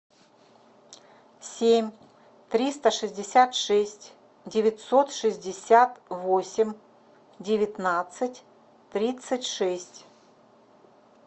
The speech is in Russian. семь триста шестьдесят шесть девятьсот шестьдесят восемь девятнадцать тридцать шесть